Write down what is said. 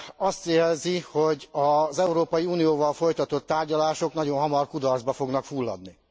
azt jelzi, hogy az Európai Unióval folytatott tárgyalások nagyon hamar kudarcba fognak fulladni.